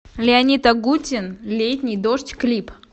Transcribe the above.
леонид агутин летний дождь клип